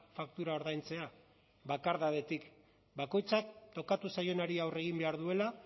faktura ordaintzea bakardadetik bakoitzak tokatu zaionari aurre egin behar duela